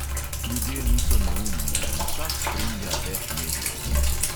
Ljudje niso neumni in vsak spremlja več medijev.